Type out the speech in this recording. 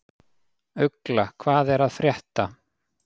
Ugla, hvað er að frétta?